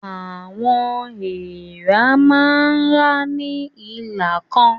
Àwọn èèrà máa ń rá ní ìlà kan.